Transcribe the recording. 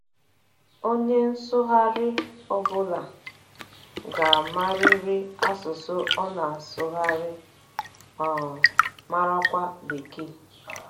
Onye nsụgharị ọ bụla ga - amarịrị asụsụ ọ na - asụgharị, um marakwa Bekee.